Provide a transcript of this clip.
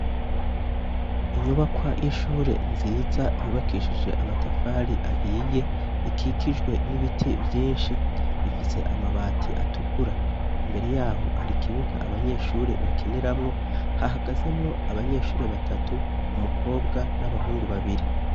Inyubakwa yishure nziza yubakishije amatafari ahiye ikikijwe n'ibiti vyinshi ifise amabati atukura, imbere yaho hari ikibuga abanyeshuri bakiniramwo hahagazemwo abanyeshuri batatu umukobwa n'abahungu babiri.